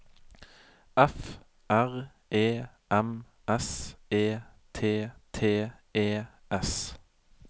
F R E M S E T T E S